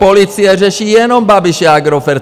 Policie řeší jenom Babiše a Agrofert!